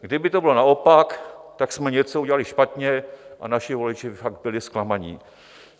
Kdyby to bylo naopak, tak jsme něco udělali špatně a naši voliči by fakt byli zklamaní.